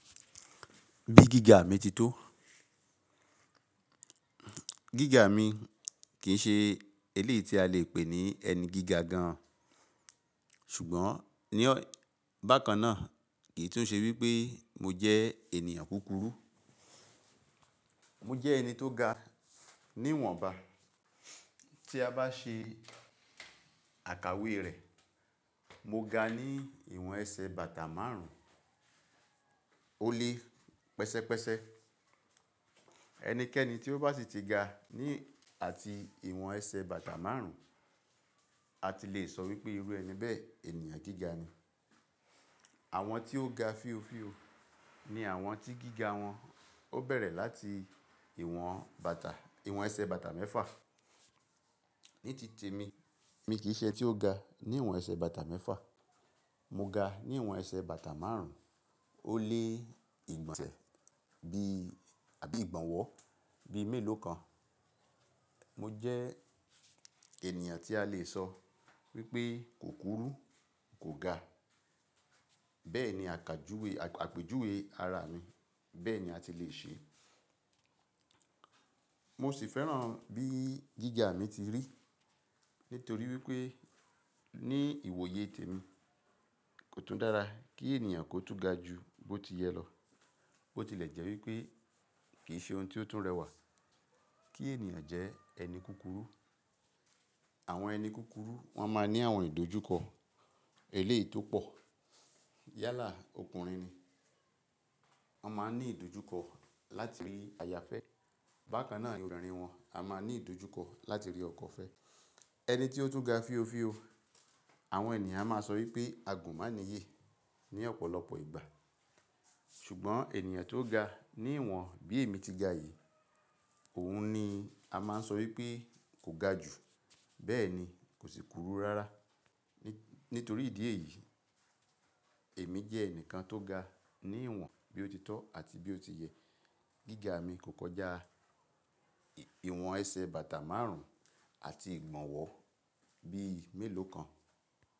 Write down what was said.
Bí gíga mi ti tó? Gíga mi kì í ṣe eléyi tí a lè pè ní ẹni gíga gan an. Ṣùgbọ́n ní bákan náà kì í tún ṣe wípé mo jẹ́ ènìyàn kúkúrú. Mo jẹ́ ẹni tó ga ní ìwọ̀nba. Tí a bá ṣe àkàwé rẹ̀, mo ga ní ìwọ̀n ẹsẹ̀ bàtà márùn-ún ó lé pẹsẹ́pẹsẹ. Ẹnikẹ́ni tí ó bá sì ti ga ní àti ìwọ̀n ẹsẹ̀ bàtà márùn-ún, a ti lè sọ wípé irú ẹni bẹ́ẹ̀ ènìyàn gíga ni. Àwọn tí ó ga fíofío ni àwọn tí gíga wọn ó bẹ̀rẹ̀ láti ìwọ̀n bàtà, ìwọ̀n ẹsẹ̀ bàtà mẹ́fà. Ní tìtemi, mi kì í ṣe ẹni tí ó ga ní ìwọ̀n ẹsẹ̀ bàtà mẹ́fà. Mo ga ní ìwọ̀n ẹsẹ̀ bàtà márùn-ún ó lé ìgbọ̀nsẹ̀ bí àbí ìgbọ̀nwọ́ bí mélòó kan. Mo jẹ́ ènìyàn tí a lè sọ wípé kò kúkúrú, kò ga. Bẹ́ẹ̀ni àkàjúwe, àpèjúwe ara mi. Bẹ́ẹ̀ ni a ti lè ṣe. Mo sì fẹ́ràn bí gíga mi ti rí nítorí wípé ní ìwòye tèmi kò tún dára kí ènìyàn kó tún ga ju bó ti yẹ lọ. Ó ti lè jẹ́ wípé kì í ṣe ohun tí ó tún rẹwà kí ènìyàn jẹ́ ẹni kúkúrú. Àwọn ẹni kúkúrú wọ́n máa ń ní àwọn ìdójúkọ eléyi to pọ̀. Yálà ọkùnrin ni wọ́n máa ń ní ìdójúkọ láti rí aya fẹ́. Bákan náà obinrìn wọn a máa ní ìdójúkọ láti rí ọkọ fẹ́. Ẹni tí ó tún ga fíofío, àwọn ènìyàn a máa sọ wípé agunmáanyè ní ọ̀pọ̀lọpọ̀ ìgbà. Ṣùgbọ́n ènìyàn tó ga ní ìwọ̀n bí èmi ti ga yìí, òun ni a máa ń sọ wípé kò ga jù, bẹ́ẹ̀ ni kò sì kúkúrú rárá. Nítorí ìdí èyí, èmi jẹ́ ẹnìkan tó ga ní ìwọ̀n bí ó ti tọ́ àti bí ó ti yẹ. Gíga mi kò kọjá ìwọ̀n ẹsẹ̀ bàtà márùn-ún àti ìgbọ̀nwọ́ bí mélòó kan.